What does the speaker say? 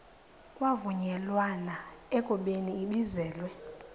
kwavunyelwana ekubeni ibizelwe